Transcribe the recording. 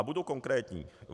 A budu konkrétní.